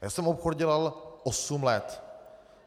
Já jsem obchod dělal osm let.